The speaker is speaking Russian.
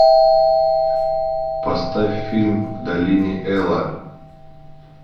поставь фильм в долине эла